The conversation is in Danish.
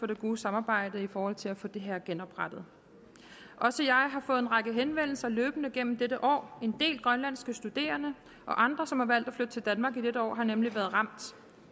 det gode samarbejde i forhold til at få det her genoprettet også jeg har fået en række henvendelser løbende gennem dette år en del grønlandske studerende og andre som har valgt at flytte til danmark i dette år har nemlig været ramt